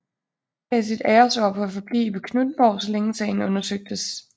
Gav sit æresord på at forblive på Knuthenborg så længe sagen undersøgtes